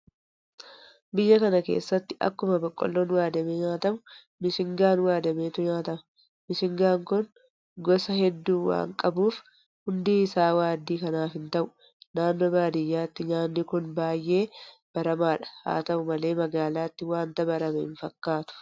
Biyya kana keessatti akkuma boqqoolloon waadamee nyaatamu mishingaan waadameetu nyaatama. bishingaan kun gosa hedduu waanta qabuuf hundi isaa waaddii kanaaf hinta'u. Naannoo baadiyyaatti nyaanni kun baay'ee baramaadha. Haata'u malee magaalaatti waanta barame hinfakkaatu.